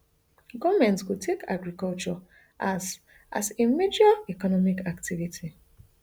goment go take agriculture as as a major economic activity